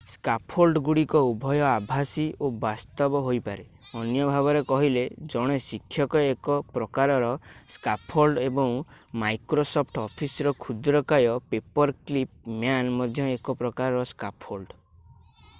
ସ୍କାଫୋଲ୍ଡଗୁଡ଼ିକ ଉଭୟ ଆଭାସୀ ଓ ବାସ୍ତବ ହୋଇପାରେ ଅନ୍ୟ ଭାବରେ କହିଲେ ଜଣେ ଶିକ୍ଷକ ଏକ ପ୍ରକାରର ସ୍କାଫୋଲ୍ଡ ଏବଂ ମାଇକ୍ରୋସଫ୍ଟ ଅଫିସର କ୍ଷୁଦ୍ରକାୟ ପେପରକ୍ଲିପ୍ ମ୍ୟାନ୍ ମଧ୍ୟ ଏକ ପ୍ରକାରର ସ୍କାଫୋଲ୍ଡ